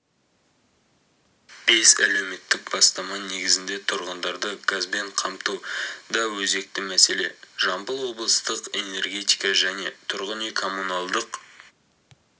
бес әлеуметтік бастама негізінде тұрғындарды газбен қамту да өзекті мәселе жамбыл облыстық энергетика және тұрғын үй-коммуналдық